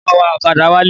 Mo ma wa ọ̀kadà wálé.